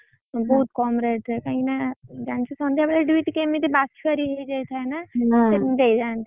ବହୁତ୍ କମ୍ rate ରେ କାଇଁ କି ନା